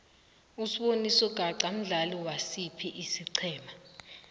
usboniso gaqa mdlali wasiphi isigema